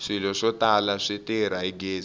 swilo swo tala swi tirha hi gezi